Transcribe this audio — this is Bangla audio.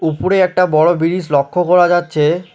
উপরে একটা বড় ব্রিজ লক্ষ করা যাচ্ছে।